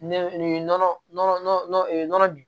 Nɛnɛ nin nɔnɔ nɔnɔ nɔnɔ nin nɔnɔ bin